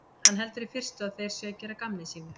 Hann heldur í fyrstu að þeir séu að gera að gamni sínu.